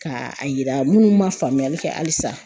Ka a yira minnu ma faamuyali kɛ halisa